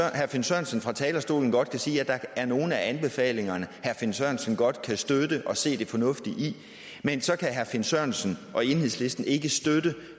herre finn sørensen fra talerstolen godt kan sige at der er nogle af anbefalingerne herre finn sørensen godt kan støtte og se det fornuftige i men herre finn sørensen og enhedslisten kan ikke støtte